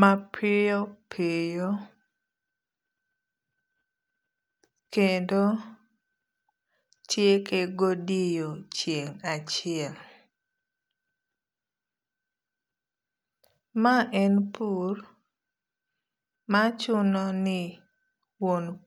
mapiyo piyo kendo tieke godiochieng' achiel. Ma en pur machuno ni wuon.